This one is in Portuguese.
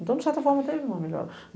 Então, de certa forma, teve uma melhora.